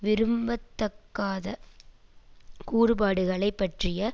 விரும்பத்தக்காத கூறுபாடுகளைப் பற்றிய